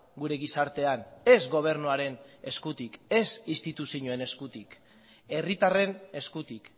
gure gizartean ez gobernuaren eskutik ez instituzioen eskutik herritarren eskutik